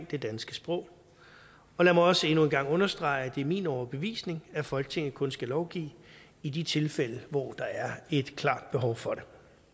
det danske sprog og lad mig også endnu en gang understrege at det er min overbevisning at folketinget kun skal lovgive i de tilfælde hvor der er et klart behov for det